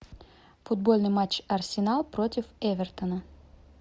футбольный матч арсенал против эвертона